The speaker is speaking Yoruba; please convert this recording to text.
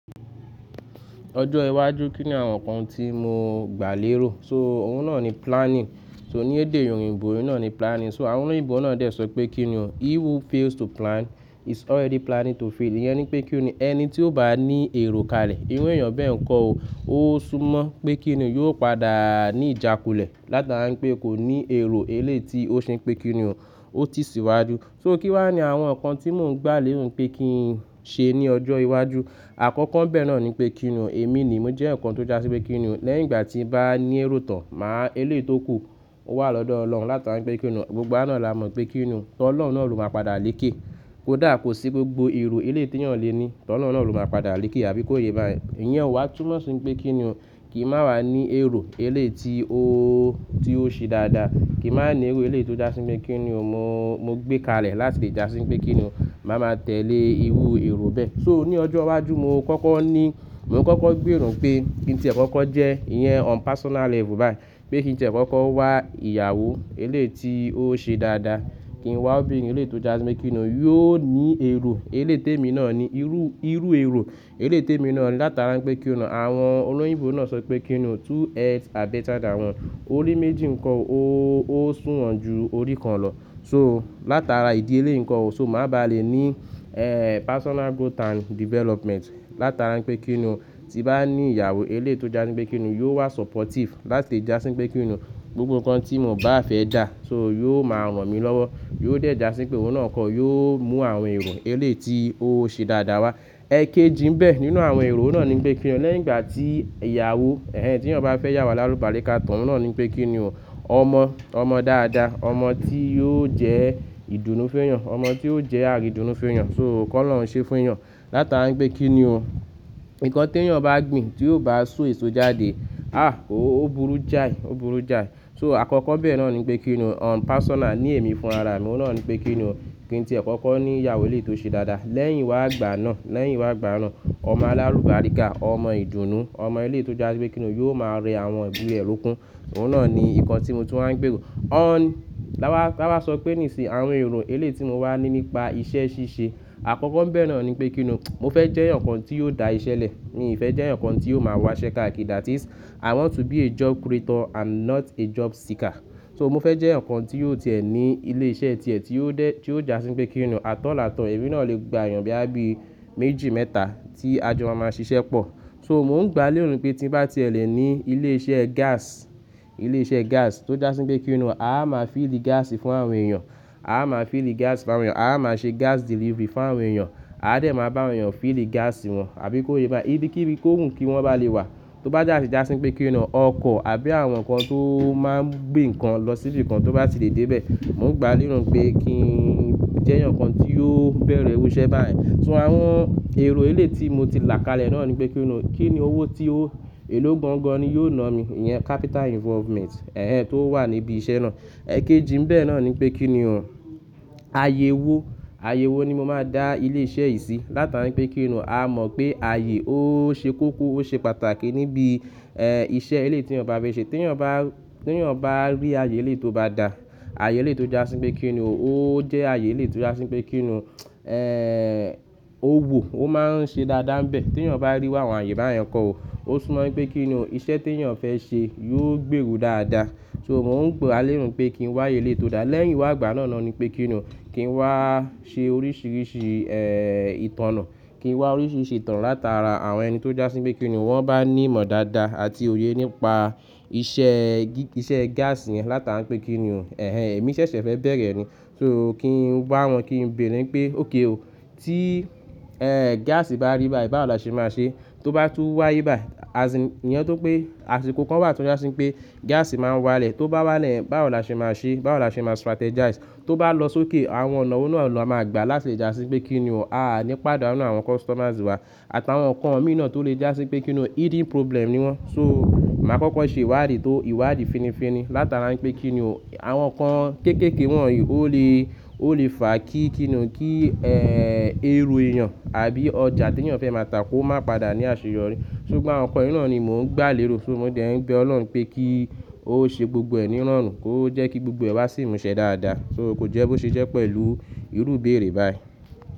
Ọjọ́ iwájú kí ni àwọn nǹkan tí mo gbà lérò? So òun náà ni planning. So ní èdè òyìnbó òun náà ni planning. So àwọn olóyìnbó náà dẹ̀ sọ pé kí ni ọ́, "He who fails to plan, is already planning to fail." Ìyẹn ni pé kí ni ọ́, ẹni tí ó bá ní èrò kalẹ̀, irú èèyàn bẹ́ẹ̀ kọ́ o. Ó sún mọ́ pé kí ni o, yóò padà ní ìjákulẹ̀. Látara pé kò ní èrò eléyì tí ó ṣe pé kí ni o, ó ti síwájú. So kí wá ni àwọn nǹkan tí mò ń gbà lérò pé kí n ṣe ní ọjọ́ iwájú. Àkọ́kọ́ n bẹ́ẹ̀ náà ni pé kí ni ọ́, èmi ni mo jẹ́ nǹkan tó já sí pé kí ni ọ́, lẹ́yìn ìgbà tí n bá ní èrò tán, màá eléyì tó kù, ó wà lọ́dọ̀ Ọlọ́run. Látara pé kí ni ọ́, gbogbo náà la mọ̀ pé kí ni ọ́, tó Ọlọ́run náà ló máa padà lékè. Kódà kò sí gbogbo èrò eléyì tí èèyàn lè ní, t'Ọlọ́run náà ló máa padà lékè, àbí kó yé bá yẹn. Ìyẹn ó wá túmọ̀ sí pé kí ni o, kí n máa wà ní èrò eléyì tí ó ó, tí ó ṣe dáadáa. Kí a máa ní èrò eléyì tí ó já sí pé kí ni o, mo, mo gbé kalẹ̀ láti lè já sí pé kí ni o, màá máa tẹ̀lé irú èrò bẹ́ẹ̀. So ní ọjọ́ iwájú, mo kọ́kọ́ ní, mo kọ́kọ́ gbèrò pé kí n tí è kọ́kọ́ jẹ́, ìyẹn on personal level báyìí. Pé kí n tí è kọ́kọ́ wá ìyàwó eléyì tí ó ṣe dáadáa. Kí n wá obìnrin eléyì tí ó já sí pé kí ni o, yóò ní èrò. Eléyì tí èmi náà ni irú, irú èrò eléyì tí èmi náà ni látara pé kí ni ọ́. Àwọn olóyìnbó náà sọ pé kí ni ọ́, "Two heads are better than one." Orí méjì nko ó, ó sùnwọ̀n ju orí kan lọ. So látara ìdí eléyì ǹko o, so mà bá lè ní, eeh, personal growth and development. Látara pé kí ni ọ́, tí bá ní ìyàwó eléyì tí ó já sí pé kí ni o, yóò wà supportive láti lè já sí pé kí ni o, gbogbo nǹkan tí mò ń bá fẹ́ dà. So yóò máa ràn mí lọ́wọ́. Yóò dẹ̀ já sí pé òun náà kọ́, yóò mú àwọn èrò eléyì tí ó ṣe dáadáa wá. Ẹ̀kéjì nbẹ́ nínú àwọn èrò náà ni pé kí ni ọ́, lẹ́yìn ìgbà tí ìyàwó, ẹ́hẹ́n tí ọ̀ bá fẹ́yàwo alálúbariká, tàn náà ni pé kí ni ọ́, ọmọ, ọmọ dáadáa. Ọmọ tí yóò jẹ́ ìdùnnú fún èèyàn, ọmọ tí yóò jẹ́ àríìdùnnú fún èèyàn. So kọ́lọ́run ṣe fún èèyàn. Látara pé kí ni ọ́, nǹkan tí ẹ̀yin bá gbìn tí ó bá so èso jáde, àh! Ó burú jáì, ó burú jáì. So àkọ́kọ́ bẹ́ẹ̀ náà ni pé kí ni ọ́, on personal, ní èmi fún ara mi òun náà ni pé kí ni ọ́, kí n tí è kọ́kọ́ ní ìyàwó eléyì tí ó ṣe dáadáa. Lẹ́yìn wá gbà náà, lẹ́yìn wá gbà náà, ọmọ alárúbaléká, ọmọ ìdùnnú, ọmọ eléyì tí ó já sí pé kí ni o, yóò máa rẹ àwọn ìdílé e lekun. Òun náà ni nǹkan tí mo tún wá ń gbèrò. On-- tábá, tábá sọ pé nísìí, àwọn èrò eléyì tí mo wà ni nípa iṣẹ́ ṣíṣe. Àkọ́kọ́ nbẹ̀ náà ni pé kí ni ọ́, mo fẹ́ jẹ́ nǹkan tí yóò da iṣẹ́ lẹ̀. Mi ò fẹ́ jẹ́ yàn kan tí yóò máa wá ṣẹ káàkiri, that is, i want to be a job creator and not a job seeker. So mo fẹ́ jẹ́ yàn kan tí yóò tìẹ̀ ní ilé iṣẹ́ tiẹ̀ tí ó dé, tí ó já sí pé kí ni ọ́, at áll, at all, èmi náà lè gba èèyàn bí i méjì, mẹ́ta tí ajọ máa máa ṣiṣẹ́ pọ̀. So mò ń gbà lérò pé tí bá ti ẹ lẹ̀ ní ilé iṣẹ́ gas, ilé iṣẹ́ gas tó já sí pé kí ni ọ́, a máa fíìlì gas fún àwọn èèyàn. A máa fíìlì gas fún àwọn èèyàn. A máa ṣe gas delivery fún àwọn èèyàn. A dẹ̀ máa bá àwọn èèyàn fíìlì gas wọn, àbí kó yé bá yẹn. Ibi kí ibi kókùn kí wọ́n bá lè wà. Tó bá sa ti já sí pé kí ni ọ́, ọkọ̀ àbí àwọn nǹkan tó máa ń gbé nǹkan lọ síbi kan tó bá ti lè dé bẹ́ẹ̀. Mò ń gbà lérò pé kí í jẹ́yàn kan tí yóò bẹ̀rẹ̀ òruṣẹ báyẹn. So àwọn èrò eléyì tí mo ti là kalẹ̀ náà ni pé kí ni ọ́, kí ni owó tí ó, èló gbọ́ngan ni yóò na mí. Ìyẹn capital involvement, ẹ́hẹ́n tó wà níbi iṣẹ́ náà. Ẹ̀kéjì nbẹ́ náà ni pé kí ni ọ́, àyẹ̀wò. Àyẹ̀wò ni mo máa dá ilé iṣẹ́ yìí sí. Látara pé kí ni ọ́, a mọ̀ pé àyè ó ṣe kókó, ó ṣe pàtàkì níbi, eeh, iṣẹ́ eléyì tí èèyàn bá fẹ́ ṣe. Tí èèyàn bá, tí èèyàn bá rí àyè eléyì tí ó bá dà, àyè eléyì tí ó já sí pé kí ni ọ́, ó jẹ́ àyè eléétí ó já sí pé kí ni ọ́, eeh, ówò, ó máa ń ṣe dáadáa n bẹ́ẹ̀. Tí èèyàn bá rí wá àwọn àyè bá yẹn kọ́ o, ó sún mọ́ pé kí ni ọ́, iṣẹ́ tí ẹ̀èyàn fẹ́ ṣe yóò gbèrú dáadáa. So mò ń gbà lérò pé kí n wá àyè eléyì tí ó dà. Lẹ́yìn wá gbà náà ni pé kí ni ọ́, kí n wá ṣe oríṣìíríṣìí, eeh, ìtoná. Kí n wá oríṣìíríṣìí ìtàn látara àwọn ẹni tó já sí pé kí ni ọ́, wọ́n bá ní ìmọ̀ dáadáa àti òye nípa iṣẹ́ gí-- iṣẹ́ gas yẹn látara pé kí ni ọ́, ẹ́hẹ́n èmi ṣẹ̀ṣẹ̀ fẹ́ bẹ̀rẹ̀ ni. So kí n wá wọn, kí n béèrè pé, "Ok o, tí, eeh, gas bá rí báyìí, báwo la ṣe máa ṣe? Tó bá tú wáyé báyìí, as ìn, ìyẹn tún pé àsìkò kan wà tó já sí pé gas máa ń wá lẹ̀. Tó bá wá lẹ̀, báwo la ṣe máa ṣe? Báwo la ṣe máa strategize? Tó bá lọ sókè, àwọn ọ̀nà wò náà la máa gba láti lè já sí pé kí ni ọ́, a á ní pàdánù àwọn customers wa. Àtàwọn nǹkan mìíràn tó lè já sí pé kí ni o, hidden problem ni wọ́n." So màá kọ́kọ́ ṣe ìwádìí tó ìwádìí fininfini látara pé kí ni ọ́, àwọn nǹkan kéékèèké wọ̀nyí ó lè, ó lè fà kí kí ni o, kí, eeh, èrò èèyàn àbí ọjà tí èèyàn fẹ́ máa tà kó máa padà ní àṣeyọrí. So gbogbo àwọn nǹkan yìí náà ni mò ń gbà lérò. So mò ń dé ẹ̀ nbé Ọlọ́run pé kí ó ṣe gbogbo ẹ̀ ní rọrùn. Kó jẹ́ kí gbogbo ẹ́ wá sì mú ṣe dáadáa. So kò jẹ́ bó ṣe jẹ́ pẹ̀lú irú bèrè báyìí.